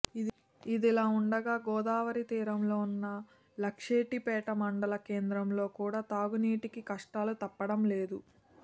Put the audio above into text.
ఇదిలా ఉండగా గోదావరి తీరంతో ఉన్న లక్షెట్టిపేట మండల కేంద్రంలో కూడా తాగునీటికి కష్టాలు తప్పడం లేదు